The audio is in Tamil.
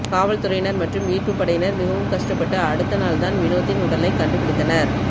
காவல்துறையினர் மற்றும் மீட்புப்படையினர் மிகவும் கஷ்டப்பட்டு அடுத்தநாள் தான் வினோத்தின் உடலை கண்டுபிடித்தனர்